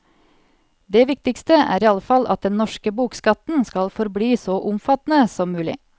Det viktigste er iallfall at den norske bokskatten skal forbli så omfattende som mulig.